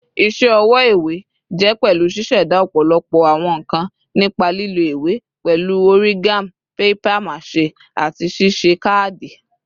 Iṣẹ ọwọ iwe jẹ pẹlu ṣiṣẹda ọpọlọpọ awọn nkan nipa lilo iwe, pẹlu origami, papier-mâché, ati ṣiṣe kaadi.